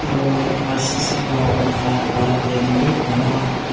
aro R_C_C ghor utha para bamboo para--